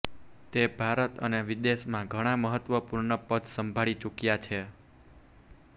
તે ભારત અને વિદેશમાં ઘણા મહત્વપૂર્ણ પદ સંભાળી ચૂક્યા છે